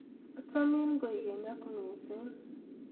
achamin kwekeny ak missing